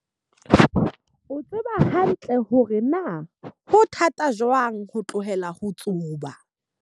O tseba hantle hore na ho thata jwang ho tlohela ho tsuba.